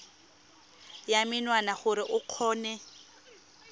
ya menwana gore o kgone